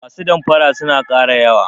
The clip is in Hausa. Masu damfara suna ƙara yawa.